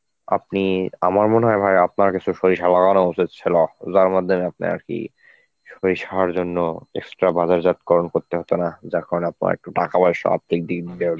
আপনি, আমার মনে হয় ভাই আপনার ক্ষেতে সরিষা লাগানো উচিত ছিল, যার মাধ্যমে আপনি আর কি সরিষার জন্য স্ট~ বা reserve করণ করতে পারতেন না, যা করার টা একটু টাকা পয়সা আর্থিক দিক দিয়ে